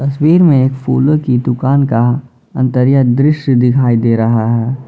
तस्वीर में एक फूलों की दुकान का अंतरिया दृश्य दिखाई दे रहा है।